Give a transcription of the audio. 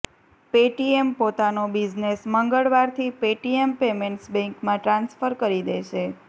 Paytm પોતાનો business મંગળવારથી Paytm payments બેંકમાં ટ્રાન્સફર કરી દેશે